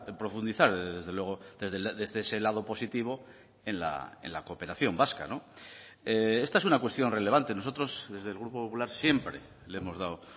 profundizar desde luego desde ese lado positivo en la cooperación vasca esta es una cuestión relevante nosotros desde el grupo popular siempre le hemos dado